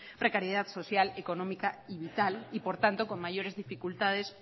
precariedad social económica y vital y por tanto con mayores dificultades